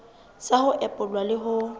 sa ho epolla le ho